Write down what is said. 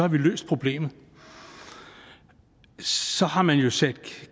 vi løst problemet så har man jo sat